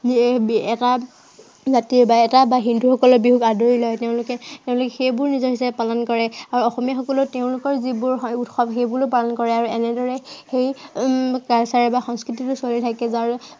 এই এটা জাতিয়ে বা এটা বা হিন্দুসকলে বিহুক আদৰি লয়। এৰ তেওঁলোকে সেইবোৰো নিজৰ হিচাপে পালন কৰে আৰু অসমীয়াসকলেও তেওঁলোকৰ যিবোৰ উৎসৱ সেইবোৰো পালন কৰে। আৰু এনেদৰে সেই যিটো culture বা সংস্কৃতিটো চলি থাকে।